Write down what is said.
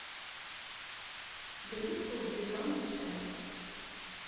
гринфилд зеленый чай